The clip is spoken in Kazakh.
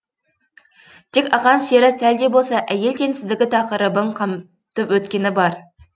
тек ақан сері сәл де болса әйел теңсіздігі тақырыбын қамтып өткені бар